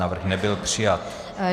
Návrh nebyl přijat.